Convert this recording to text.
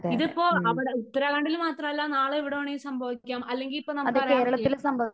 ഇതിപ്പോ അവിടെ ഉത്തരാഖണ്ഡിൽ മാത്രമല്ല നാളെ എവിടെ വേണമെങ്കിലും സംഭവിക്കാം അല്ലെങ്കിൽ ഇപ്പോ നമുക്കറിയാം